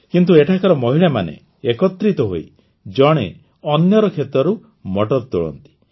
କିନ୍ତୁ ଏଠାକାର ମହିଳାମାନେ ଏକତ୍ରିତ ହୋଇ ଜଣେ ଅନ୍ୟର କ୍ଷେତରୁ ମଟର ତୋଳନ୍ତି